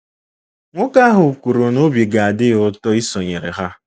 Nwoke ahụ kwuru na obi ga-adị ya ụtọ isonyere ha.